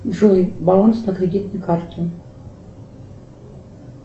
джой баланс на кредитной карте